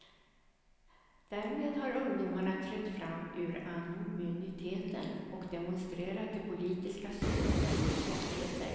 Därmed har ungdomarna trätt fram ur anonymiteten och demonstrerat det politiska systemets svagheter.